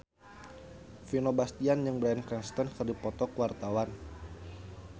Vino Bastian jeung Bryan Cranston keur dipoto ku wartawan